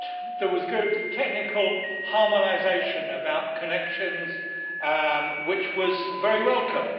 There was good technical harmonisation about connections, which was very welcome.